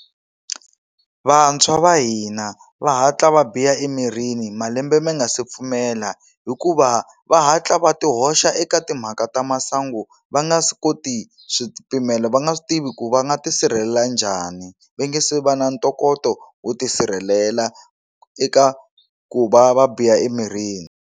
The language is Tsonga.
Vantshwa va hina va hatla va biha emirini malembe ma nga si pfumela hikuva va hatla va ti hoxa eka timhaka ta masangu va nga a swi koti swipimelo va nga swi tivi ku va nga tisirhelela njhani va nga se va na ntokoto wo tisirhelela eka ku va va biha emirini.